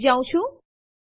ચાલો જોઈએ આપણે શું કહ્યું